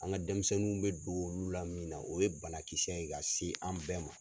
An ka denmisɛnninw bɛ don olu la min na o ye banakisɛ ye ka se an bɛɛ ma.